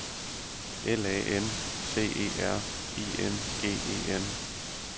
L A N C E R I N G E N